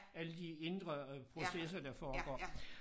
Alle de indre øh processer der foregår